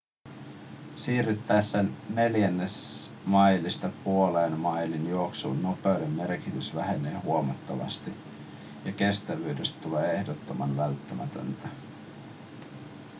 siirryttäessä neljännesmailista puolen mailin juoksuun nopeuden merkitys vähenee huomattavasti ja kestävyydestä tulee ehdottoman välttämätöntä